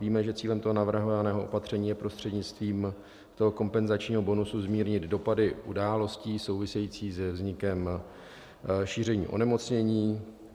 Víme, že cílem toho navrhovaného opatření je prostřednictvím toho kompenzačního bonusu zmírnit dopady událostí souvisejících se vznikem šíření onemocnění.